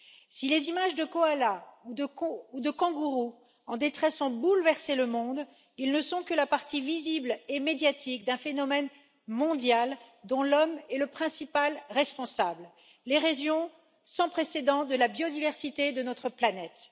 Si les images de koalas ou de kangourous en détresse ont bouleversé le monde, ils ne sont que la partie visible et médiatique d'un phénomène mondial, dont l'homme est le principal responsable l'érosion sans précédent de la biodiversité de notre planète.